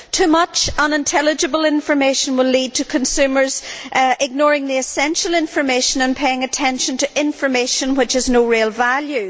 Too much unintelligible information will lead to consumers ignoring the essential information and paying attention to information which has no real value.